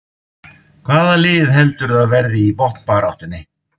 Hvaða lið heldurðu að verði í botnbaráttunni?